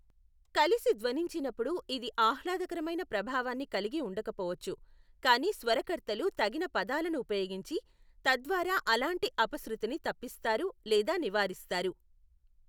కలిసి ధ్వనించినప్పుడు ఇది ఆహ్లాదకరమైన ప్రభావాన్ని కలిగి ఉండకపోవచ్చు, కానీ స్వరకర్తలు తగిన పదాలను ఉపయోగించి, తద్వారా అలాంటి అపశృతిని తప్పిస్తారు లేదా నివారిస్తారు.